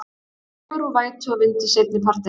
Dregur úr vætu og vindi seinnipartinn